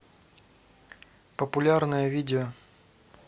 популярное видео